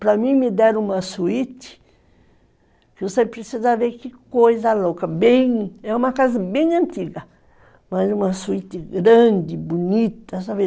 Para mim me deram uma suíte, que você precisa ver que coisa louca, bem... É uma casa bem antiga, mas uma suíte grande, bonita, sabe?